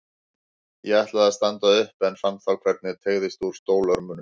Ég ætlaði að standa upp en fann þá hvernig teygðist úr stólörmunum.